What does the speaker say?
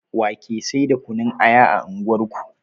Wa ke sai da kunun aya a unguwar ku